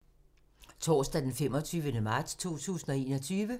Torsdag d. 25. marts 2021